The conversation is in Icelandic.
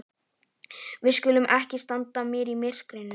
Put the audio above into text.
Við skulum ekki standa hér í myrkrinu.